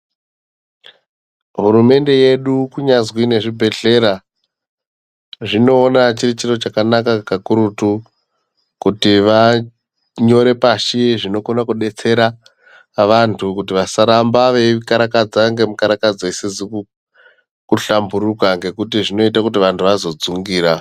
Hurumende yedu kunyazwi nezvibhedlera zvinowona chiri chiro chakanaka kakurutu, kuti vanyore pashi zvinokona kudetsera vantu kuti vasaramba veyikarakadza ngemikarakadzo isizi kuhlamburuka ngekuti zvinoite kuti vanhu vazodzungira.